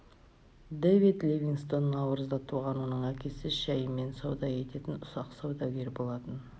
дэвид ливингстон наурызда туған оның әкесі шаймен сауда ететін ұсақ саудагер болатын